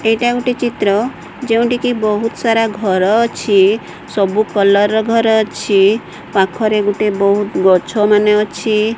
ଏଇଟା ଗୋଟେ ଚିତ୍ର ଯେଉଁଠି କି ବୋହୁତ୍ ସାରା ଘର ଅଛି ସବୁ କଲର୍ ର ଘର ଅଛି ପାଖରେ ଗୁଟେ ବୋହୁତ୍ ଗଛ ମାନେ ଅଛି।